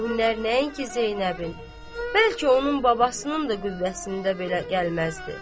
O hünnər nəinki Zeynəbin, bəlkə onun babasının da qüvvəsində belə gəlməzdi.